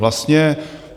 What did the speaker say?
Vlastně